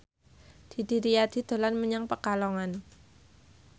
Didi Riyadi dolan menyang Pekalongan